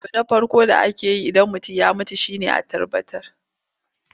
Abu na farko da ake yi Idan an ce mutum ya mutu shi ne a tabbatar.